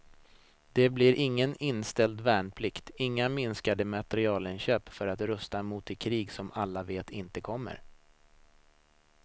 Det blir ingen inställd värnplikt, inga minskade materielinköp för att rusta mot det krig som alla vet inte kommer.